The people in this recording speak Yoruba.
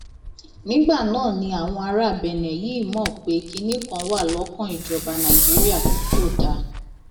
nígbà náà ni àwọn ará benne yìí mọ pé kinní kan wà lọkàn ìjọba nàìjíríà tí kò dáa